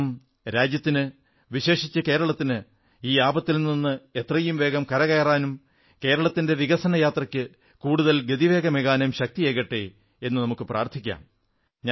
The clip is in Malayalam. ഓണം രാജ്യത്തിന് വിശേഷിച്ച് കേരളത്തിന് ഈ ആപത്തിൽ നിന്ന് എത്രയും വേഗം കര കയറാനും കേരളത്തിന്റെ വികസനയാത്രയ്ക്ക് കൂടുതൽ ഗതിവേഗമേകാനും ശക്തിയേകട്ടെ എന്നു നമുക്കു പ്രാർഥിക്കാം